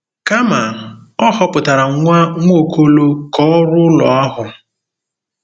Kama, Ọ họpụtara nwa Nwaokolo ka ọ rụọ ụlọ ahụ.